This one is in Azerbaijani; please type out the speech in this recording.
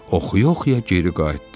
oxuya-oxuya geri qayıtdı.